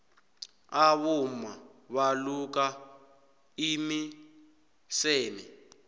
abomma baluka imiseme